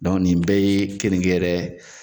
nin bɛɛ ye keninge yɛrɛ